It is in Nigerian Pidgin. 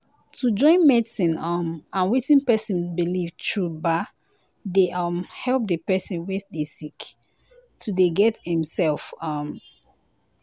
to join medicine um and wetin pesin believe true baa dey um help di pesin wey dey sick to dey get em sef. um